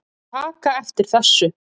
taka eftir þessu